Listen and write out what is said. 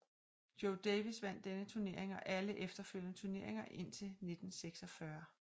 Joe Davis vandt denne turnering og alle efterfølgende turneringer indtil 1946